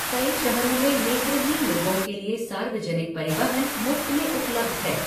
कई शहरों में नेत्रहीन लोगों के लिए सार्वजनिक परिवहन मुफ्त में उपलब्ध है।